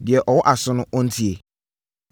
Deɛ ɔwɔ aso no, ɔntie!